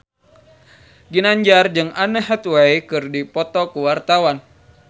Ginanjar jeung Anne Hathaway keur dipoto ku wartawan